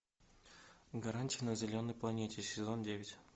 гаргантия на зеленой планете сезон девять